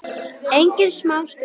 Engin smá skutla!